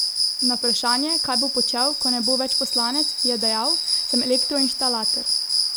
Na vprašanje, kaj bo počel, ko ne bo več poslanec, je dejal: 'Sem elektroinštalater.